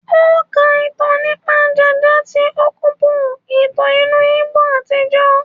O ká ìtàn nípa ja-ja tí okpobo, ìtàn ìlú Igbo àtijọ́.